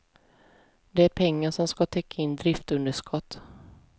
Det är pengar som ska täcka in driftunderskott.